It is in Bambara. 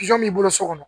b'i bolo so kɔnɔ